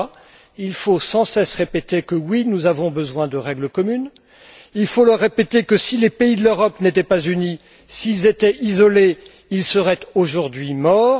ces gens là, il faut sans cesse répéter que oui, nous avons besoin de règles communes, il faut leur répéter que si les pays de l'Europe n'étaient pas unis, s'ils étaient isolés, ils seraient aujourd'hui morts.